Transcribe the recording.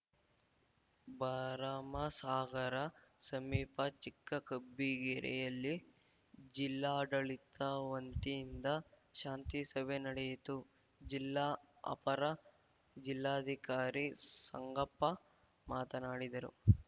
ಭರಮಸಾಗರ ಸಮೀಪ ಚಿಕ್ಕಕಬ್ಬಿಗೆರೆಯಲ್ಲಿ ಜಿಲ್ಲಾಡಳಿತ ವಂತಿಯಿಂದ ಶಾಂತಿಸಭೆ ನಡೆಯಿತು ಜಿಲ್ಲಾ ಅಪರ ಜಿಲ್ಲಾಧಿಕಾರಿ ಸಂಗಪ್ಪ ಮಾತನಾಡಿದರು